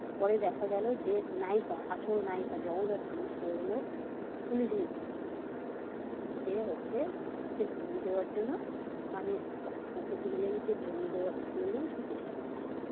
পরে দেখা গেল যে নায়িকা আসল নায়িকা জগদ্ধাত্রী সে হলো পুলিশ ইন্সপেক্টর সে হচ্ছে সবাইকে ধরিয়ে দেওয়ার জন্য মানে হচ্ছে ভিলেনকে ধরিয়ে দেওয়ার জন্য সে চেষ্টা করছে।